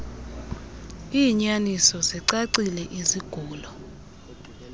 iinyaniso zicacile izigulo